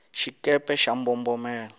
xikepe xa mbombomela